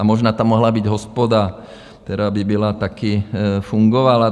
A možná tam mohla být hospoda, která by byla také fungovala.